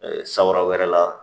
San wɛrɛ la